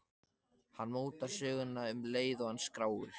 Hann mótar söguna um leið og hann skráir.